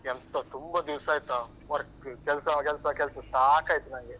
ಎಂತ ತುಂಬ ದಿವ್ಸ ಆಯ್ತಾ work ಕೆಲ್ಸ ಕೆಲ್ಸ ಕೆಲ್ಸ ಸಾಕಯ್ತು ನನ್ಗೆ.